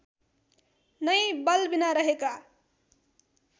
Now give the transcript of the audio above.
नै बलबिना रहेका